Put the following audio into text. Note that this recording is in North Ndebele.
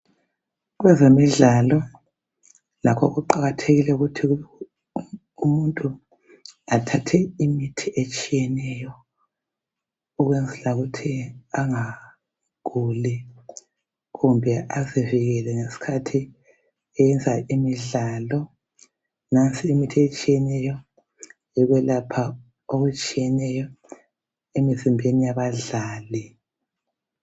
kwezemidlalo kuqakathekile ukuthi umuntu athathe imithi etshiyeneyo ukwenzela ukuthi angaguli kumbe azivikele ngesikhathi eyenza imidlalo nansi imithi etshiyeneyo yokwelapha okutshiyeneyo emizimbeni yabadlali